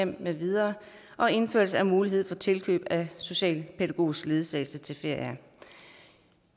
med videre og indførelse af mulighed for tilkøb af socialpædagogisk ledsagelse til ferier